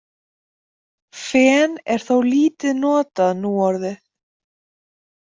Fen er þó lítið notað núorðið.